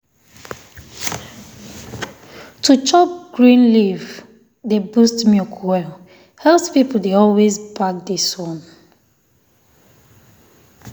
to chop green um leaf um dey boost milk well. health people dey always back this one